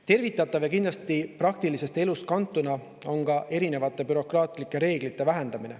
Tervitatav ja kindlasti praktilisest elust kantud on ka erinevate bürokraatlike reeglite vähendamine.